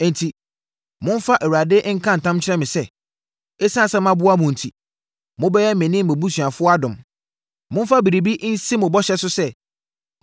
“Enti momfa Awurade nka ntam nkyerɛ me sɛ, ɛsiane sɛ maboa mo enti, mobɛyɛ me ne mʼabusuafoɔ adom. Momfa biribi nsi mo bɔhyɛ so sɛ,